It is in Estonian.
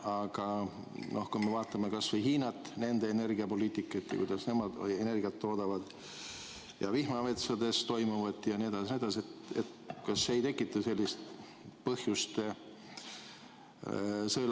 Aga kui me vaatame kas või Hiinat, nende energiapoliitikat ja kuidas nemad energiat toodavad, ja vihmametsades toimuvat jne, jne, siis kas see ei tekita sellist põhjust sõelaga vee kandmiseks?